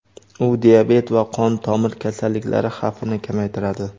u diabet va qon tomir kasalliklari xavfini kamaytiradi.